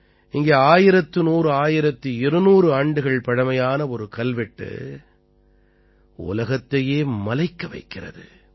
இங்கே 11001200 ஆண்டுகள் பழமையான ஒரு கல்வெட்டு உலகத்தை மலைக்க வைக்கிறது